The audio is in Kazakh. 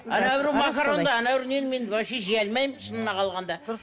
макоронды нені мен вообще жей алмаймын шынына қалғанда